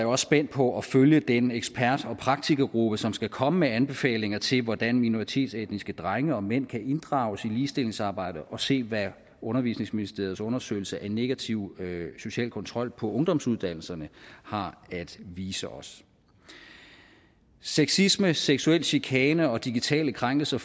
også spændt på at følge den ekspert og praktikergruppe som skal komme med anbefalinger til hvordan minoritetsetniske drenge og mænd kan inddrages i ligestillingsarbejdet og se hvad undervisningsministeriets undersøgelse af negativ social kontrol på ungdomsuddannelserne har at vise os sexisme seksuel chikane og digitale krænkelser